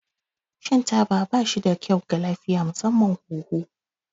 Shan taba ba shi da kyau ga lafiya, musamman hunhu.